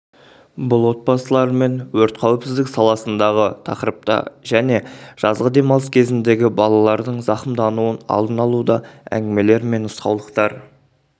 бұл отбасылармен өрт қауіпсіздік саласындағы тақырыпта және жазғы демалыс кезіндегі балалардың зақымдануын алдын-алуда әңгімелер мен нұсқаулықтар